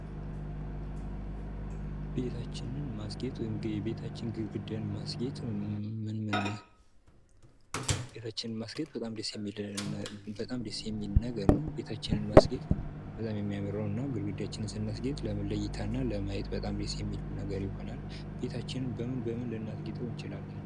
ቤታችንን ማስጌጥ ወይም የቤታችንን ግድግዳ ማስጌጥ ምን ምን ቤታችንን ማስጌጥ በጣም ደስ በጣም ደስ የሚል ነገር ነው። ቤታችንን ማስጌጥ በጣም የሚያምር ነው እና ግድግዳችንን ስናስጌጥ ለምን ለእይታ እና ለማየት በጣም ደስ የሚል ነገር ይሆናል። ቤታችንን በምን በምን ልናስጌጠው እንችላለን?